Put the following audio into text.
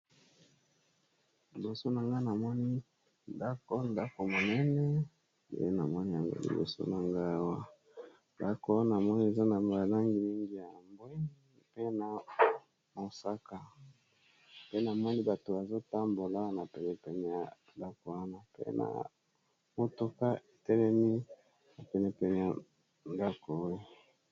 Liboso na nga namoni ndako, ndako monene eye namoni yanga liboso na ngawa ndako wana namoni eza na malangi mingi ya mbwe mpe na mosaka pe namoni bato bazotambola na pene pene ya ndako wana pe na mutuka etelemi na pene pene ya ndako oyo.